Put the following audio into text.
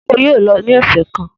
Eéwo yóò lọ ní ọ̀sẹ̀ kan!